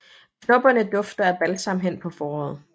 Knopperne dufter af balsam hen på foråret